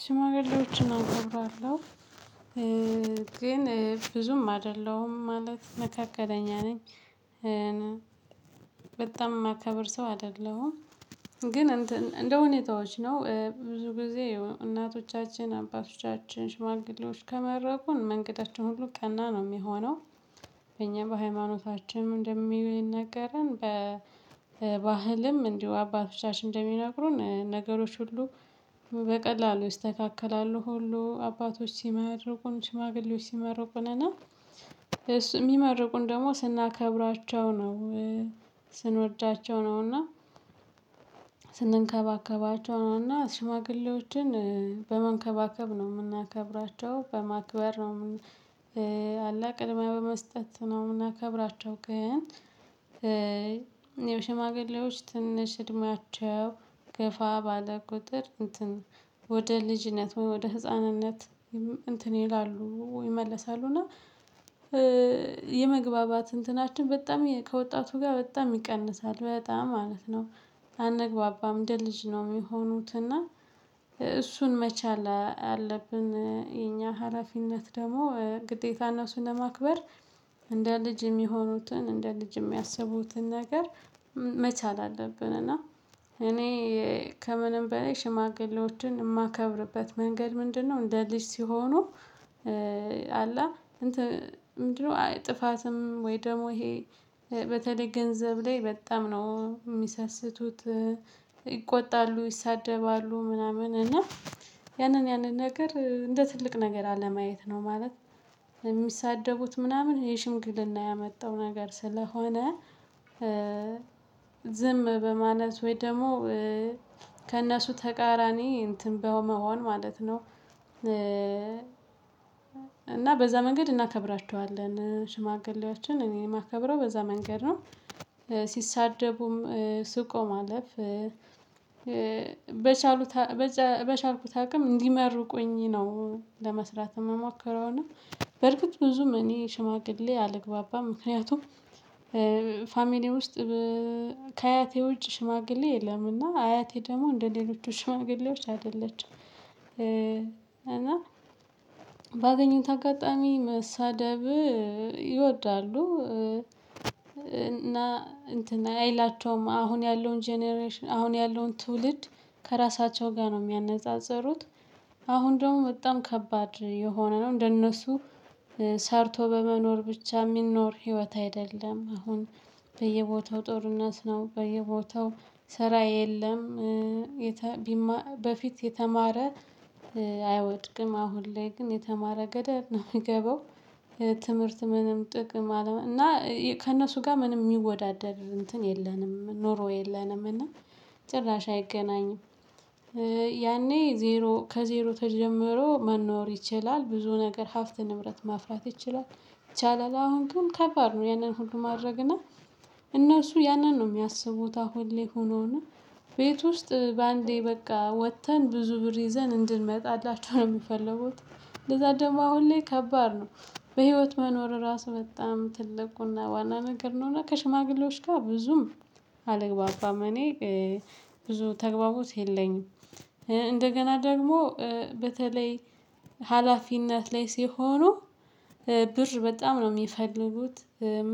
ሽማግሌዎችን አከብራለሁ ግን ብዙም አይደለሁም ማለት መካከለኛ ነኝ። በጣም የማከብር ሰው አይደለሁም። ግን እንደ ሁኔታዎች ነው ብዙ ጊዜ እናቶቻችን አባቶቻችን ሽማግሌዎች ከመረቁን መንገዳችን ሁሉ ቀና ነው የሚሆነው። እኛ በሃይማኖታችን እንደሚነገረን በባህልም እንዲሁ አባቶቻችን እንደሚነግሩን ነገሮች ሁሉ። በቀላሉ ይስተካከላሉ ሁሉ አባቶች ሲመርቁን ሽማግሌዎች ሲመርቁን እና እሱ የሚመርቁን ደግሞ ስናከብራቸው ነው። ስንወዳቸው ነው እና ስንከባከባቸው ነውና ሽማግሌዎችን በመንከባከብ ነው የምናከብራቸው በማክበር ነው። አላ ቅድሚያ በመስጠት ነው የምናከብራቸው። ግን የሽማግሌዎች ትንሽ እድሜያቸው ገፋ ባለ ቁጥር እንትን ወደ ልጅነት ወደ ህፃንነት እንትን ይላሉ ይመለሳሉ። እና የመግባባት እንትናችን በጣም ከወጣቱ ጋር በጣም ይቀንሳል በጣም ማለት ነው። አንግባባም እንደ ልጅ ነው የሚሆኑት። እና እሱን መቻል አለብን የኛ ሀለፊነት ደግሞ ግዴታና እሱን ለማክበር እንደ ልጅ የሚሆኑትን እንደ ልጅ የሚያስቡትን ነገር መቻል አለብን። እና እኔ ከምንም በኔ ሽማግሌዎችን የማከብርበት መንገድ ምንድነው? እንደ ልጅ ሲሆኑ አለ እንትን ምንድነው? አይ ጠፋትም ወይ ደግሞ ይሄ በተለይ ገንዘብ ላይ በጣም ነው የሚሰስቱት። ይቆጣሉ ይሳደባሉ ምናምን እና ያንን ያንን ነገር እንደ ትልቅ ነገር አለማየት ነው ማለት። የሚሳደቡት ምናምን ይሄ ሽምግልና ያመጣው ነገር ስለሆነ። ዝም በማለት ወይ ደግሞ ከእነሱ ተቃራኒ እንትን በመሆን ማለት ነው። እና በዛ መንገድ እናከብራቸዋለን ሽማግሌዎችን እኔ የማከብረው በዛ መንገድ ነው። ሲሳደቡም ስቆ ማለፍ በቻሉት በቻልኩት አቅም እንዲመርቁኝ ነው። ለመስራት የምሞከረውና በርግጥ ብዙም እኔ ሽማግሌ አልግባባም። ምክንያቱም ፋሚሊ ውስጥ ከአያቴ ውጭ ሽማግሌ የለምና አያቴ ደግሞ እንደሌሎቹ ሽማግሌዎች አይደለችም። እና ባገኘው አጋጣሚ መሳደብ ይወዳሉ እና እንትን አይላቸውም አሁን ያለውን ጀነሬሽን አሁን ያለውን ትውልድ ከራሳቸው ጋር ነው የሚያነጻጽሩት። አሁን ደግሞ በጣም ከባድ የሆነ ነው እንደነሱ ሰርቶ በመኖር ብቻ የሚኖር ህይወት አይደለም። አሁን በየቦታው ጦርነት ነው በየቦታው ስራ የለም። በፊት የተማረ አይወድቅም አሁን ላይ ግን የተማረ ገደለ ነው የምገባው። ትምህርት ምንም ጥቅም አለመ እና ከእነሱ ጋር ምንም የሚወዳደር እንትን የለንም ኖሮ የለንም። እና ጭራሽ አይገናኝም። ያኔ ዜሮ ከዜሮ ተጀምሮ መኖር ይችላል ብዙ ነገር ሀብት ንብረት ማፍራት ይችላል። ይቻላል አሁን ግን ከባድ ነው። ያንን ሁሉ ማድረግ እና እነሱ ያንን ነው የሚያስቡት። አሁን ላይ ሆኖ እና ቤት ውስጥ በአንዴ በቃ ወጥተን ብዙ ብር ይዘን እንድንመጣላቸው ነው የሚፈልጉት። እንዛ ደግሞ አሁን ላይ ከባድ ነው። በህይወት መኖር ራሱ በጣም ትልቁ እና ዋና ነገር ነው። እና ከሽማግሌዎች ጋር ብዙም አልግባባም። እኔ ብዙ ተግባቦት የለኝም። እንደገና ደግሞ በተለይ ሀላፊነት ላይ ሲሆኑ ብር በጣም ነው የሚፈልጉት።